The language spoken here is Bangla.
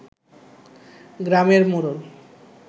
গ্রামের মোড়ল